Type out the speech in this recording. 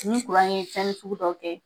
Ni ye fɛnnin sugu dɔ kɛ